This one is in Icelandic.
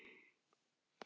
Til dæmis börnin þeirra.